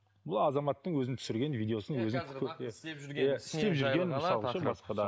бұл азаматтың өзінің түсірген видеосын өзін